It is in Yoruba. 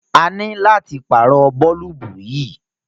À nílo láti pàárọ̀ bọ̀ọ̀lùbù yí.